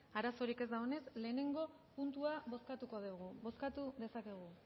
arazorik ez dagoenez lehenengo puntua bozkatuko dugu bozkatu dezakegu